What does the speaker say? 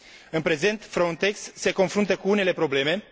În prezent, Frontex se confruntă cu unele probleme.